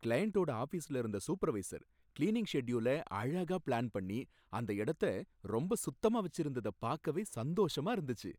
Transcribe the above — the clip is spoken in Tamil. கிளையண்ட்டோட ஆஃபிஸ்ல இருந்த சூப்பர்வைசர் கிளீனிங் ஷெட்யூல அழகா பிளான்பண்ணி அந்த இடத்த ரொம்ப சுத்தமா வச்சிருந்தத பாக்கவே சந்தோசமா இருந்துச்சு.